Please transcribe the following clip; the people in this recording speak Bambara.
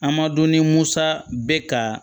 A ma dɔn ni musa bɛ ka